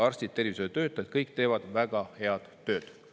Arstid, tervishoiutöötajad, kõik teevad väga head tööd.